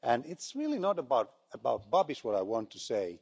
But it's really not about about Babiš, is what I wanted to say.